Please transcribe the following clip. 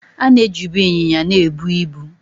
A na ejibụ ịnyịnya na-ebụ ịbu